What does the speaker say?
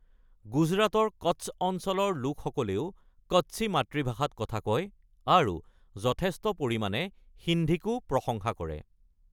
গুজৰাটৰ কচ্ছ অঞ্চলৰ লোকসকলেও কচ্ছি মাতৃভাষাত কথা কয়, আৰু যথেষ্ট পৰিমাণে সিন্ধিকো প্ৰশংসা কৰে।